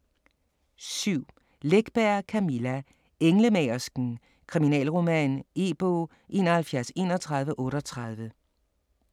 7. Läckberg, Camilla: Englemagersken: kriminalroman E-bog 713138